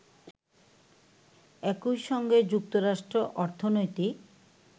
একইসঙ্গে যুক্তরাষ্ট্র অর্থনৈতিক